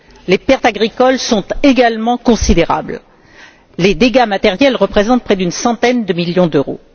Les pertes agricoles sont également considérables. Les dégâts matériels représentent près d'une centaine de millions d'euros.